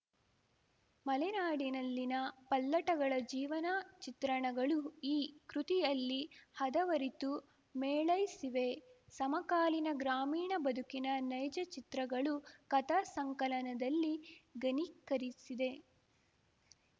ಮಲೆನಾಡಿನಲ್ಲಿನ ಪಲ್ಲಟಗಳ ಜೀವನ ಚಿತ್ರಣಗಳು ಈ ಕೃತಿಯಲ್ಲಿ ಹದವರಿತು ಮೇಳೈಸಿವೆ ಸಮಕಾಲೀನ ಗ್ರಾಮೀಣ ಬದುಕಿನ ನೈಜ ಚಿತ್ರಗಳು ಕಥಾ ಸಂಕಲನದಲ್ಲಿ ಘನೀಕರಿಸಿದೆ